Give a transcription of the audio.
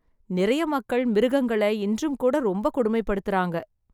நிறைய மக்கள் மிருகங்களை இன்றும் கூட ரொம்ப கொடுமை படுத்துறாங்க.